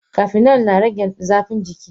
Cafenol na rage zafin jiki.